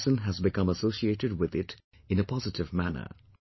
Each person has become associated with it in a positive manner